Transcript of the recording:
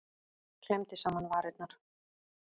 Klemmdi saman varirnar.